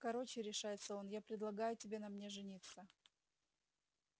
короче решается он я предлагаю тебе на мне жениться